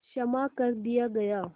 क्षमा कर दिया गया